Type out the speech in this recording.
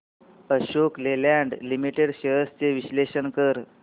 Ashok Leyland limited shares चे विश्लेषण कर